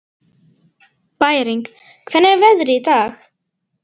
Bæring, hvernig er veðrið í dag?